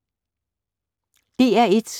DR1